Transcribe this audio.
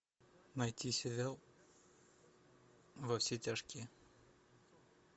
найти сериал во все тяжкие